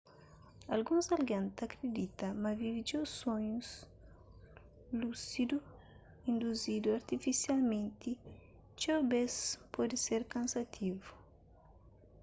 alguns algen ta kridita ma vive txeu sonhus lúsidu induzidu artifisialmenti txeu bês pode ser kansativu